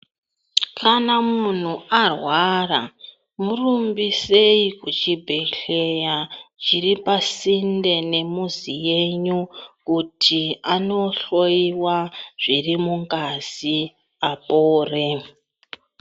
Kana munhu arwara murumbisei kuchibhedhlera chiri pasinde nemuzi yenyu kuti aohloyiwa zvirimungazi apore.